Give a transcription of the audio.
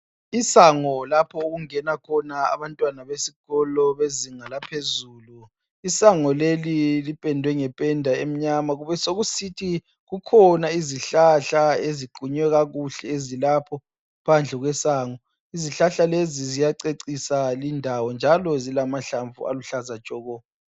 Isango lapho okungena khona abantwana besikolo bezinga laphezulu. Isango leli lipendwe ngependa emnyama kubesokusiba khona izihlahla eziqunywe kuhle ngaphandle kwesango. Izihlahla lezi zicecise lindawo njalo zilamahlamvu aluhlaza tshoko.